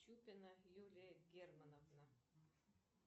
чупина юлия германовна